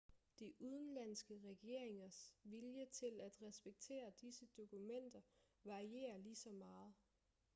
de udenlandske regeringers vilje til at respektere disse dokumenter varierer ligeså meget